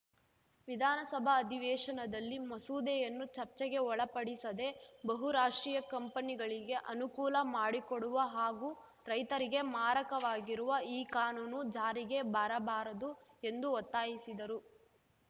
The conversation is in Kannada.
ವಿಧಾನಸಭಾ ಅಧಿವೇಶನದಲ್ಲಿ ಮಸೂದೆಯನ್ನು ಚರ್ಚೆಗೆ ಒಳಪಡಿಸದೆ ಬಹುರಾಷ್ಟ್ರೀಯ ಕಂಪನಿಗಳಿಗೆ ಅನುಕೂಲ ಮಾಡಿಕೊಡುವ ಹಾಗೂ ರೈತರಿಗೆ ಮಾರಕವಾಗಿರುವ ಈ ಕಾನೂನು ಜಾರಿಗೆ ಬರಬಾರದು ಎಂದು ಒತ್ತಾಯಿಸಿದರು